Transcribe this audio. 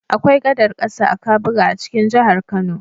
Akwai gadar ƙasa a Kabuga a cikin jihar Kano.